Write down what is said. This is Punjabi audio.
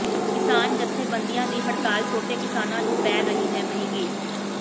ਕਿਸਾਨ ਜਥੇਬੰਦੀਆਂ ਦੀ ਹੜਤਾਲ ਛੋਟੇ ਕਿਸਾਨਾਂ ਨੂੰ ਪੈ ਰਹੀ ਹੈ ਮਹਿੰਗੀ